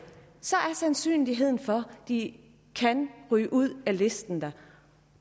så er sandsynligheden for at de kan ryge ud af listen der